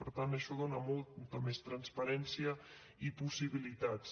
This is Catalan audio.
per tant això dona molta més transparència i possibilitats